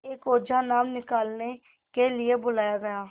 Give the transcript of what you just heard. एक ओझा नाम निकालने के लिए बुलाया गया